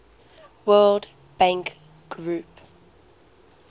world bank group